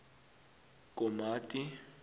komati